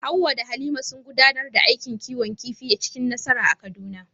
Hawwa da Halima sun gudanar da aikin kiwon kifi cikin nasara a Kaduna.